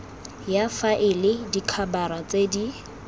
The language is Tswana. ya faele dikhabara tse di